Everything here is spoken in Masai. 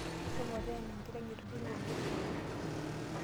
Shomo teena enkiteng etudung'o orgosoi.